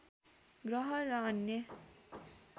ग्रह र अन्य